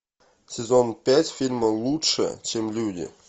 сезон пять фильма лучше чем люди